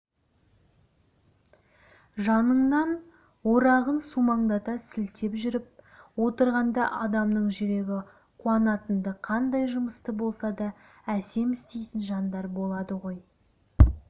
жаныңнан орағын сумаңдата сілтеп жүріп отырғанда адамның жүрегі қуанатынды қандай жұмысты болса да әсем істейтін жандар болады ғой